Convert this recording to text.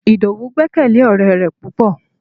Idowu gbekele ore re pupo